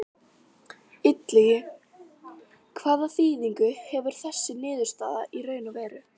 Illugi, hvaða þýðingu hefur þessi niðurstaða í raun og veru?